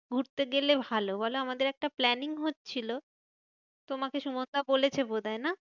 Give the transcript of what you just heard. ঘুরতে গেলে ভালো বলো? আমাদের একটা planning হচ্ছিলো, তোমাকে সুমনদা বলেছে বোধহয় না?